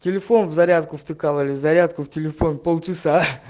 телефон в зарядку в триколоре зарядку в телефон полчаса